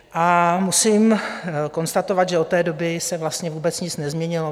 A musím konstatovat, že od té doby se vlastně vůbec nic nezměnilo.